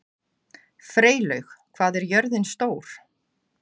Freylaug, hvað er jörðin stór?